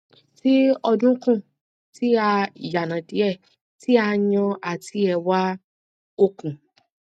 ti ọdunkun ti a yanadie ti a yan ati ewa okun